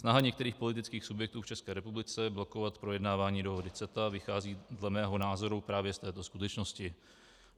Snaha některých politických subjektů v České republice blokovat projednávání dohody CETA vychází dle mého názoru právě z této skutečnosti.